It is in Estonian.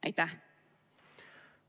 Aitäh!